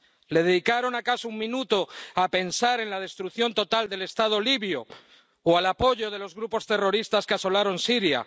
¿Le dedicaron acaso un minuto a pensar en la destrucción total del Estado libio o al apoyo de los grupos terroristas que asolaron Siria?